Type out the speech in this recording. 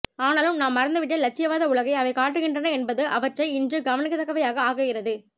ஆனாலும் நாம் மறந்துவிட்ட இலட்சியவாத உலகை அவை காட்டுகின்றன என்பது அவற்றை இன்று கவனிக்கத்தக்கவையாக ஆக்குகிறது